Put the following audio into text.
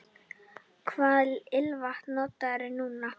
Hvaða ilmvatn notarðu núna?